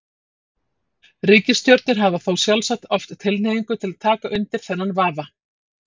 Ríkisstjórnir hafa þá sjálfsagt oft tilhneigingu til að taka undir þennan vafa.